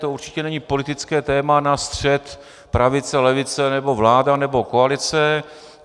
To určitě není politické téma na střet pravice - levice, nebo vláda nebo koalice.